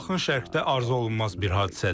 Bu Yaxın Şərqdə arzuolunmaz bir hadisədir.